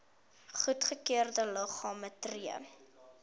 goedgekeurde liggame tree